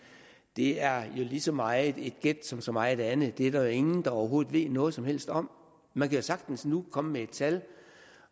det er jo lige så meget et gæt som så meget andet det er der jo ingen der overhovedet ved noget som helst om man kan jo sagtens nu komme med et tal